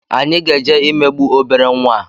anyị ga-eje imegbu obere nwa a